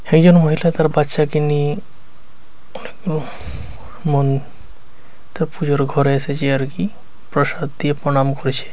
একজন মহিলা তার বাচ্চাকে নিয়ে মন তার পুজোর ঘরে এসেছে আর কি প্রসাদ দিয়ে প্রণাম করছে।